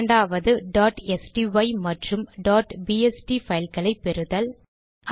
இரண்டாவது sty மற்றும் bst file களை பெறுதல்